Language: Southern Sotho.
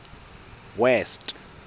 west